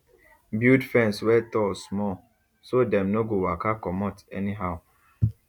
build fence wey tall small so dem no go waka comot anyhow